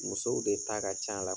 Musow de ta ka can la.